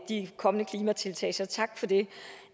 de kommende klimatiltag så tak for det